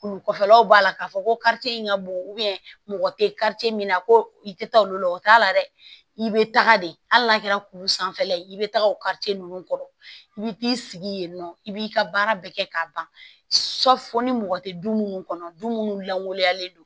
Kulu kɔfɛlaw b'a la k'a fɔ ko in ka bon mɔgɔ tɛ min na ko i tɛ taa olu la o t'a la dɛ i bɛ taga de hali n'a kɛra kulu sanfɛla ye i bɛ taga o ninnu kɔrɔ i bɛ t'i sigi yen nɔ i b'i ka baara bɛɛ kɛ k'a ban fo ni mɔgɔ tɛ du munnu kɔnɔ du minnu langoloyalen don